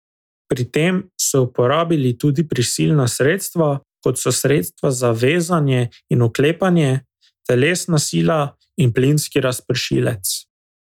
Pri tem so uporabili tudi prisilna sredstva, kot so sredstva za vezanje in vklepanje, telesna sila in plinski razpršilec.